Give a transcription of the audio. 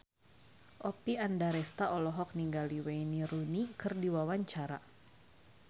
Oppie Andaresta olohok ningali Wayne Rooney keur diwawancara